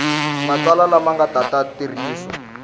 matsalwa lama nga ta tirhisiwa